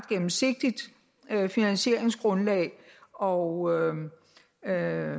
gennemsigtigt finansieringsgrundlag og at